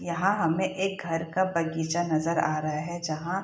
यहां हमें एक घर का बगीचा नजर आ रहा है जहां --